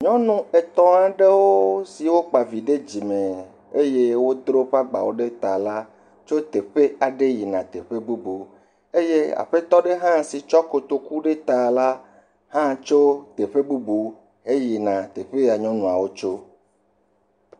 Nyɔnu wo ame etɔ̃ aɖewo siwo kpa vi ɖe dzime eye wodro woƒe agbawo ɖe ta la tso teƒe aɖe yina teƒe bubu eye aƒetɔ aɖe si tsɔ kotoku ɖe ta la hã tso teƒe bubu heyina teƒe ya nyɔnuawo tso